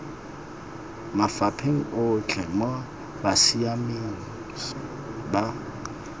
mafapheng otlhe mo botsamaisng ba